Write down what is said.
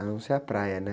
Eu não ser a praia, né?